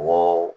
Mɔgɔ